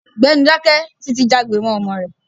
Gbẹ́nu dáké! Títi jágbe mọ́ ọ̀rẹ́ rẹ̀.